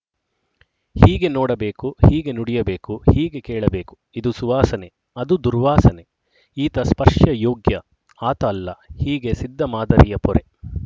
ಹೀಗೆ ನೋಡಬೇಕು ಹೀಗೆ ನುಡಿಯಬೇಕು ಹೀಗೆ ಕೇಳಬೇಕು ಇದು ಸುವಾಸನೆ ಅದು ದುರ್ವಾಸನೆ ಈತ ಸ್ಪರ್ಶಯೋಗ್ಯ ಆತ ಅಲ್ಲ ಹೀಗೆ ಸಿದ್ಧ ಮಾದರಿಯ ಪೊರೆ